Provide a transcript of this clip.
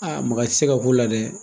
maga tɛ se ka k'o la dɛ.